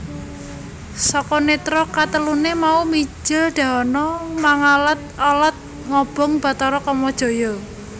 Saka nètra kateluné mau mijil dahana mangalad alad ngobong Bathara Kamajaya